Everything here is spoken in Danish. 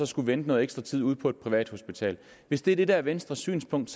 skulle vente noget ekstra tid ude på et privathospital hvis det er det der er venstres synspunkt